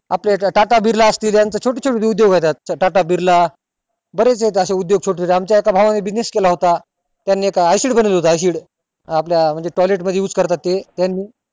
आपले tata Birla असतील यांचे छोट छोटे उदोग येत यात tata Birla बरेच येत अशे छोट छोटे आमच्या एका भावा नि business केला होता त्यांनी एक acid बनवला होता acid आपल्या म्हणजे toilet मध्ये करतात ते त्यांनी